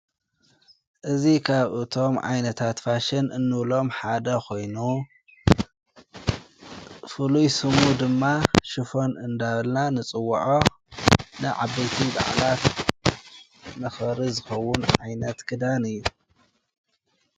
እዚ ኻብቶም ዓይነት ፋሽን እንብሎም ሓደ ኾይኑ ፍሉይ ሽሙ ድማ ሽፎን እንዳበልና ንጽዉዖ ንዓበይቲ በዓላት መክበሪ ዝከውን ዓይነት ኽዳን እዩ።